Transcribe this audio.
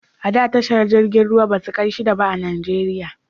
A da tashar jiragen ruwa ba su kai shida ba a Najeriya